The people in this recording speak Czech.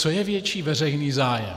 Co je větší veřejný zájem?